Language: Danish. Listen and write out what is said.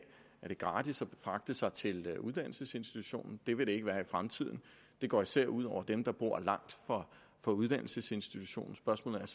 gratis at fragte sig til uddannelsesinstitutionen det vil det ikke være i fremtiden og det går især ud over dem der bor langt fra uddannelsesinstitutionen spørgsmålet er